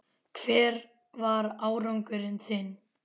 Hver var árangur þinn?